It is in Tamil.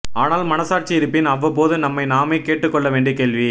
ஆனால் மனசாட்சி இருப்பின் அவ்வப்போது நம்மை நாமே கேட்டுக்கொள்ள வேண்டிய கேள்வி